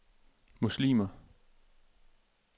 muslimer